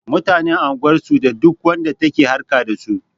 Mutanen unguwar su da duk wanda take harƙa dasu